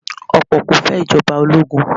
Ọ̀pọ̀ kò fẹ́ Ìjọba ológun